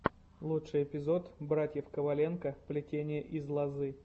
лучший эпизод братьев коваленко плетение из лозы